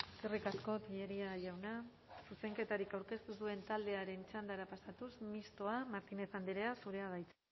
eskerrik asko tellería jauna zuzenketarik aurkeztu ez duen taldearen txandara pasatuz mistoa martínez andrea zurea da hitza